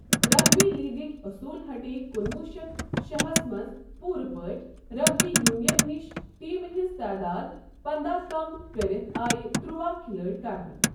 Rugby لیگٕکۍ اصوٗل ہٹے کُنوُہ شیتھ شٮ۪ہس منٛز پوٗرٕ پٲٹھۍ رگبی یونین نِش، ٹیمہِ ہٕنٛز تعداد پنداہ کم کٔرتھ آیہِ ترٛواہ کھلٲڑۍ کرنہٕ۔